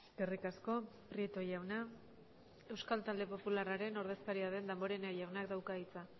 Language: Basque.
eskerrik asko prieto jauna euskal talde popularraren ordezkaria den damborenea jaunak dauka hitza